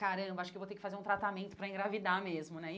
Caramba, acho que vou ter que fazer um tratamento para engravidar mesmo, né?